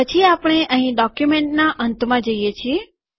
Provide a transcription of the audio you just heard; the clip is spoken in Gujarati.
પછી આપણે અહીં ડોક્યુંમેંટના અંતમાં જઈએ છીએ